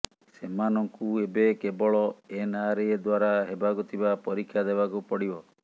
ସେମାନଙ୍କୁ ଏବେ କେବଳ ଏନଆରଏ ଦ୍ବାରା ହେବାକୁ ଥିବା ପରୀକ୍ଷା ଦେବାକୁ ପଡିବ